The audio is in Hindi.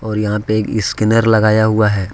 और यहां पे एक स्कैनर लगाया हुआ है।